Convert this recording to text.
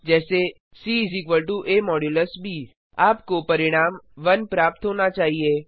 जैसे C a ब आपको परिणाम 1 प्राप्त होना चाहिए